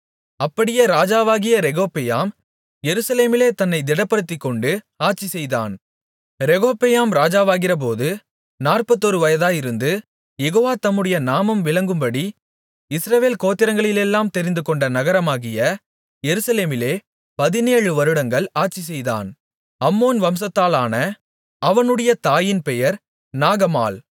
அப்படியே ராஜாவாகிய ரெகொபெயாம் எருசலேமிலே தன்னைத் திடப்படுத்திக்கொண்டு ஆட்சிசெய்தான் ரெகொபெயாம் ராஜாவாகிறபோது நாற்பத்தொரு வயதாயிருந்து யெகோவா தம்முடைய நாமம் விளங்கும்படி இஸ்ரவேல் கோத்திரங்களிலெல்லாம் தெரிந்துகொண்ட நகரமாகிய எருசலேமிலே பதினேழு வருடங்கள் ஆட்சிசெய்தான் அம்மோன் வம்சத்தாளான அவனுடைய தாயின் பெயர் நாகமாள்